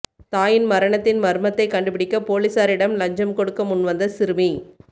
தாயின் மரணத்தின் மர்மத்தை கண்டுபிடிக்க போலீசாரிடம் லஞ்சம் கொடுக்க முன்வந்த சிறுமி